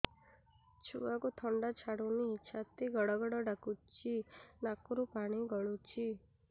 ଛୁଆକୁ ଥଣ୍ଡା ଛାଡୁନି ଛାତି ଗଡ୍ ଗଡ୍ ଡାକୁଚି ନାକରୁ ପାଣି ଗଳୁଚି